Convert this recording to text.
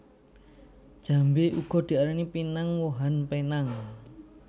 Jambé uga diarani pinang wohan penang